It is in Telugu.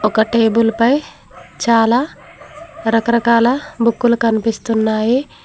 ఒక టేబుల్ పై చాలా రకరకాల బుక్కులు కనిపిస్తున్నాయి.